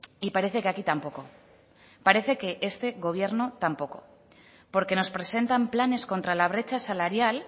y parece que aquí tampoco parece que este gobierno tampoco porque nos presentan planes contra la brecha salarial